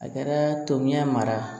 A kɛra tomiya mara